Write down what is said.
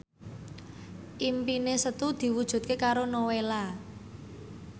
impine Setu diwujudke karo Nowela